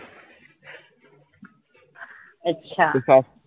अच्छा